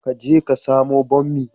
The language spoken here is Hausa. Ka je ka samo bommi